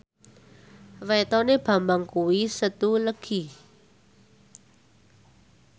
wetone Bambang kuwi Setu Legi